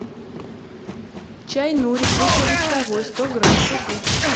чай нури крупнолистовой сто грамм купить